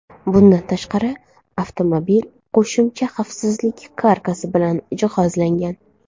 Bundan tashqari, avtomobil qo‘shimcha xavfsizlik karkasi bilan jihozlangan.